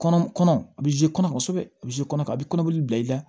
Kɔnɔ kɔnɔ a bɛ kɔnɔ kosɛbɛ a bɛ kɔnɔ a bɛ kɔnɔboli bila i la